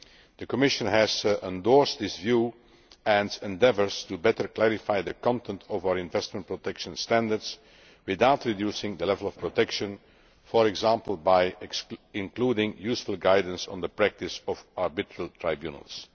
The Commission has endorsed this view and is endeavouring to better clarify the content of our investment protection standards without reducing the level of protection, for example by including useful guidance on the practice of arbitral tribunals.